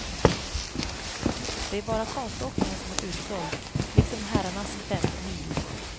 Det är bara konståkningen som är utsåld, liksom herrarnas femmil.